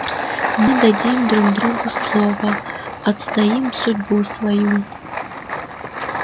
мы дадим друг другу слово отстоим судьбу свою